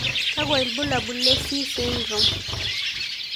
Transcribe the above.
Kakwa ibulabul le C syndrome?